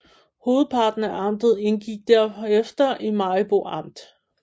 Hovedparten af amtet indgik derefter i Maribo Amt